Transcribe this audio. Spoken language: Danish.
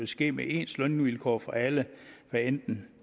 ske med ens lønvilkår for alle hvad enten